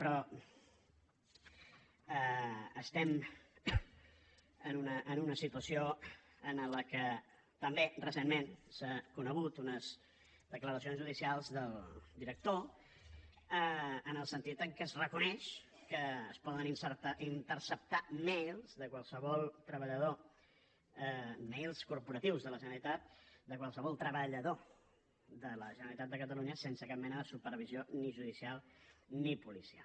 però estem en una situació en què també recentment s’han conegut unes declaracions judicials del director en el sentit que es reconeix que es poden interceptar mails de qualsevol treballador mails corporatius de la generalitat de qualsevol treballador de la generalitat de catalunya sense cap mena de supervisió ni judicial ni policial